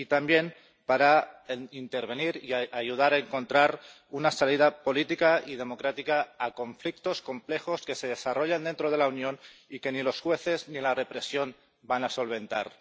y también para intervenir y ayudar a encontrar una salida política y democrática a conflictos complejos que se desarrollan dentro de la Unión y que ni los jueces ni la represión van a solventar.